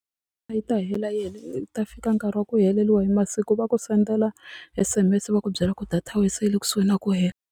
Yi ta hela ta fika nkarhi wa ku heleriwa hi masiku va ku sendela S_M_S va ku byela ku data ya wehe se yi le kusuhi na ku hela.